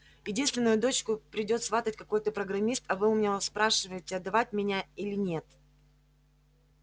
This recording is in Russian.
единственную дочку придёт сватать какой-то программист а вы у меня спрашиваете отдавать меня или нет